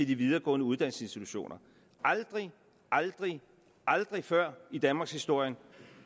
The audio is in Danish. de videregående uddannelsesinstitutioner aldrig aldrig aldrig før i danmarkshistorien